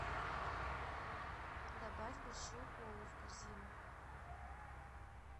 добавь большую колу в корзину